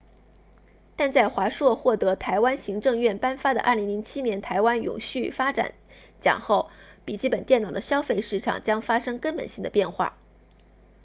但在华硕获得台湾行政院颁发的2007年台湾永续发展奖后笔记本电脑的消费市场将发生根本性的变化